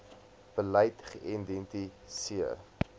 beleid geïdenti seer